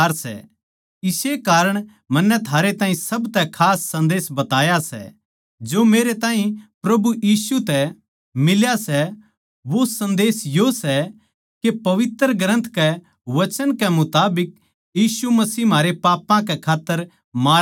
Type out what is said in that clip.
इस्से कारण मन्नै थारे ताहीं सब तै खास सन्देस बताया सै जो मेरे ताहीं प्रभु यीशु तै मिल्या सै वो सन्देस यो सै के पवित्र ग्रन्थ कै वचन कै मुताबिक यीशु मसीह म्हारै पापां कै खात्तर मारया गया